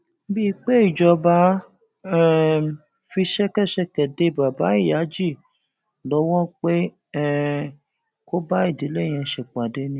bíi pé ìjọba um fi ṣẹkẹṣẹkẹ dé baba ìyájí lọwọ pé um kó bá ìdílé yẹn ṣèpàdé ni